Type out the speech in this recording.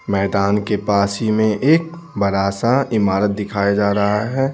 मैदान के पास ही में एक बड़ा सा इमारत दिखाया जा रहा है।